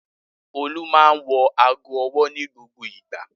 Olú máa ń wọ ago-ọwọ́ ní gbogbo ìgbà.